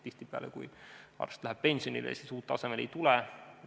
Tihtipeale on nii, et kui arst läheb pensionile, siis uut asemele ei tule.